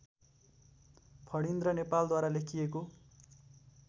फणीन्द्र नेपालद्वारा लेखिएको